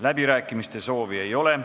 Läbirääkimiste soovi ei ole.